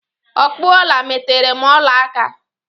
Ọkpụ ọla metere m ọla aka!